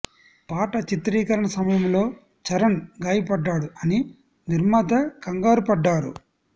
పాట చిత్రీకరణ సమయంలో చరణ్ గాయపడ్డాడు అని నిర్మాత కంగారు పడ్డారు